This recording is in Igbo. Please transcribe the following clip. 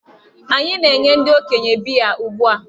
Anyị na-enye ndị okenye biya ugbu a.